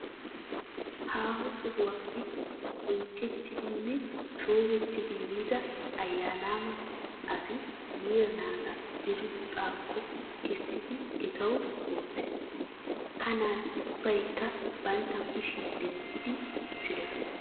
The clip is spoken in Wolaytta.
Haaho sohuwappe bonchchettidi nne shoobettidi yiida ayyaanaama asi yiira naata diriiphphaakko kessidi etawu woosses. Ha naati ubbaykka bantta kushiya dentti uttidosona.